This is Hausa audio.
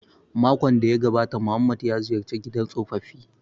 Makon da ya gabata Muhammad ya ziyarci gidan tsofaffi